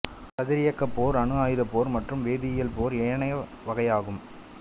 கதிரியக்கப் போர் அணுஆயுத போர் மற்றும் வேதியியல் போர் ஏனையவையாகும்